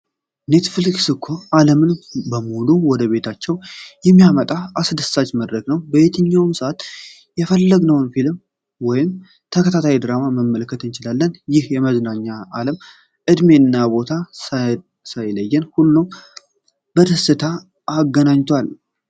ኔትፍሊክስ እኮ ዓለምን በሙሉ ወደ ቤታችን የሚያመጣ አስደሳች መድረክ ነው! በየትኛውም ሰዓት የፈለግነውን ፊልም ወይም ተከታታይ ድራማ መመልከት እንችላለን። ይህ የመዝናኛ ዓለም እድሜና ቦታ ሳይለይ ሁሉንም በደስታ አገናኝቷል!